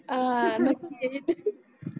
हा नखी येईल